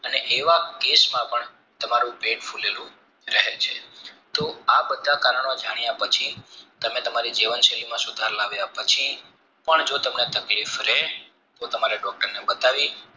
અને એવા કેશમાં પણ તમારું પેટ ફુલેલું રહે છે તો આ બધા કારણો જાણ્યા પછી તમે તમારી જીવન શૈલી માં સુધારો લાવ્યા પછી પણ જો તમને તકલીફ રે તો તમારે doctor ને બતાવી